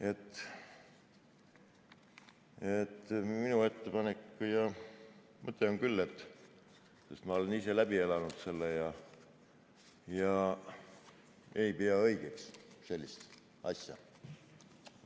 Nii et minu ettepanek ja mõte on küll, kuna ma olen ise selle läbi elanud, et ma ei pea õigeks sellist asja.